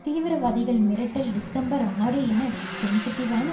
தீவிரவாதிகள் மிரட்டல் டிசம்பர் ஆறு என சென்சிட்டிவான